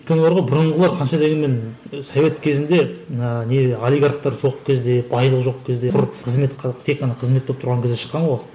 өйткені бар ғой бұрынғылар қанша дегенмен совет кезінде ыыы не олигархтар жоқ кезде байлық жоқ кезде құр қызмет тек қана қызмет болып тұрған кезде шыққан ғой